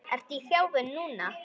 Ertu í þjálfun núna?